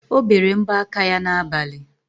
O bere mbọ aka ya n'abali.